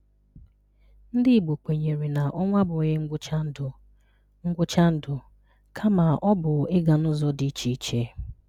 Ndị Igbo kwenyere na ọnwụ abụghị ngwụcha ndụ, ngwụcha ndụ, kama ọ bụ ịga n’ụzọ dị iche.